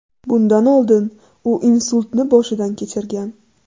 Bundan oldin u insultni boshidan kechirgan.